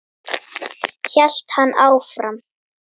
hélt hann áfram.